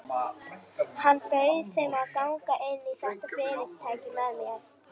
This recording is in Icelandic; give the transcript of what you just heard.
Hann bauð þeim að ganga inn í þetta fyrirtæki með sér.